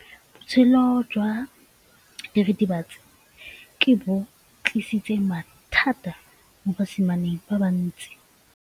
Botshelo jwa diritibatsi ke bo tlisitse mathata mo basimaneng ba bantsi.